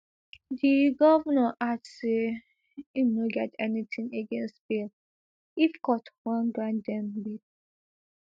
di govnor add say im no get anytin against bail if court wan grant dem bail